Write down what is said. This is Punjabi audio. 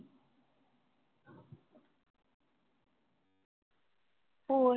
ਹੋਰ